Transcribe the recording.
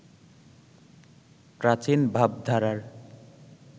প্রাচীন ভাবধারার